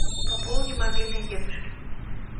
пополни мобильный дедушки